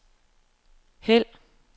hæld